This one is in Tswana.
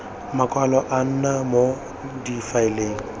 makwalo a nna mo difaeleng